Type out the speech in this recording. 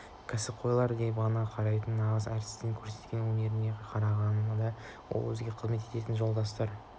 кәсіпқойлар деп қана қарайтын нағыз әртістердің көрсеткен өнеріне қарағанда ол бірге қызмет ететін жолдастарының